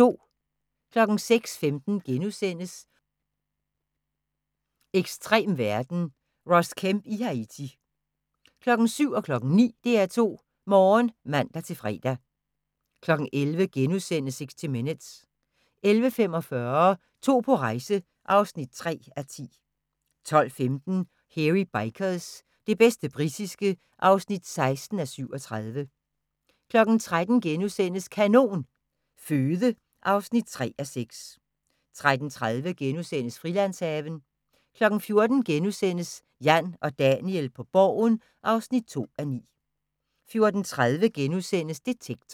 06:15: Ekstrem verden – Ross Kemp i Haiti * 07:00: DR2 Morgen (man-fre) 09:00: DR2 Morgen (man-fre) 11:00: 60 Minutes * 11:45: To på rejse (3:10) 12:15: Hairy Bikers – det bedste britiske (16:37) 13:00: Kanon Føde (3:6)* 13:30: Frilandshaven (3:8)* 14:00: Jan og Daniel på Borgen (2:9)* 14:30: Detektor *